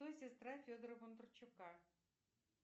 кто сестра федора бондарчука